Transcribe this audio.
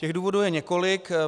Těch důvodů je několik.